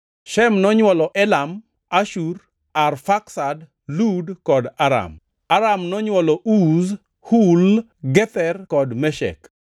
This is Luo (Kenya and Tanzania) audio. Shem nonywolo Elam, Ashur, Arfaksad, Lud kod Aram. Aram nonywolo Uz, Hul, Gether kod Meshek.